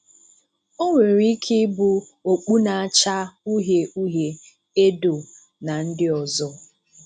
Ọ nwere ike ịbụ okpù na-acha ùhìè ùhìè, èdò na ndị ọzọ.